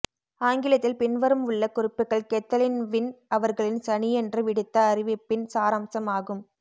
ஆங்கிலத்தில் பின்வரும் உள்ள குறிப்புக்கள் கெத்தலின் வின் அவர்களின் சனியன்று விடுத்த அறிவிபபின சாரம்சம் ஆகும